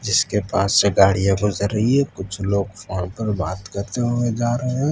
इसके पास से गाड़ियां गुजर रही है कुछ लोग फोन पर बात करते हुए करते हुए जा रहे।